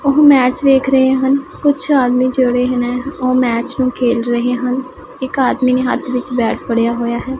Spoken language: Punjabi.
ਉਹ ਮੈਚ ਵੇਖ ਰਹੇ ਹਨ ਕੁਝ ਆਦਮੀ ਜਿਹੜੇ ਹਨ ਉਹ ਮੈਚ ਨੂੰ ਖੇਲ ਰਹੇ ਹਨ ਇਕ ਆਦਮੀ ਨੇ ਹੱਥ ਵਿੱਚ ਬੈਟ ਫੜਿਆ ਹੋਇਆ ਹੈ।